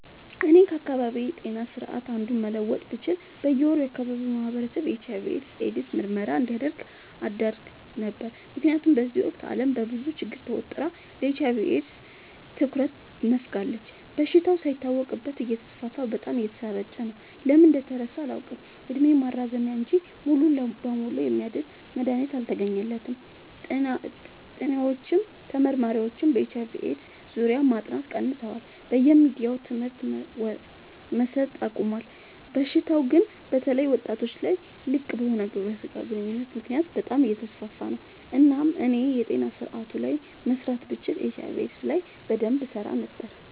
እኔ ከአካባቢዬ ጤና ስርዓት አንዱን መለወጥ ብችል በየ ወሩ የአካባቢው ማህበረሰብ የኤች/አይ/ቪ ኤድስ ምርመራ እንዲያደርግ አደረግ ነበር። ምክንያቱም በዚህ ወቅት አለም በብዙ ችግር ተወጥራ ለኤች/አይ/ቪ ኤድስ ትኩረት ነፋጋለች። በሽታው ሳይታወቅበት እተስፋፋ በጣም እየተሰራጨ ነው። ለምን እንደተረሳ አላውቅ እድሜ ማራዘሚያ እንጂ ሙሉ በሙሉ የሚያድን መድሀኒት አልተገኘለትም ጥኒዎችም ተመራማሪዎችም በኤች/አይ/ቪ ኤድስ ዙሪያ ማጥናት ቀንሰዋል በየሚዲያውም ትምህርት መሰት አቆሞል። በሽታው ግን በተለይ ወጣቶች ላይ ልቅበሆነ ግብረ ስጋ ግንኙነት ምክንያት በጣም አየተስፋፋ ነው። እናም እኔ የጤና ስረአቱ ላይ መስራት ብችል ኤች/አይ/ቪ ኤድስ ላይ በደንብ እሰራ ነበር።